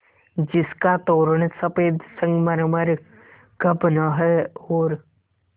जिसका तोरण सफ़ेद संगमरमर का बना है और